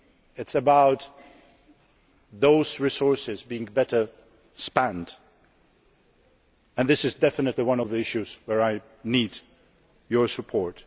money. It is about those resources being spent better and this is definitely one of the issues where I need your support.